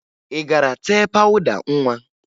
Ị gara tee pawụda nwa?